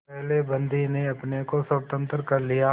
पहले बंदी ने अपने को स्वतंत्र कर लिया